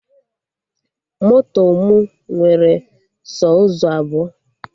Moto mụ nwere sọ ụzọ abụọ